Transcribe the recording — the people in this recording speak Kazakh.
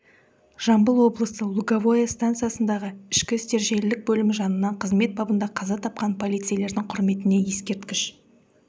жамбыл облысы луговое стансасындағы ішкі істер желілік бөлімі жанынан қызмет бабында қаза тапқан полицейлердің құрметіне ескерткіш